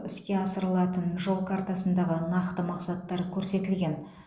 іске асырылатын жол картасындағы нақты мақсаттар көрсетілген